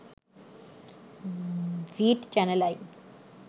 ভিট channel I